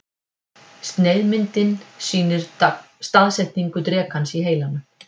Sneiðmyndin sýnir staðsetningu drekans í heilanum.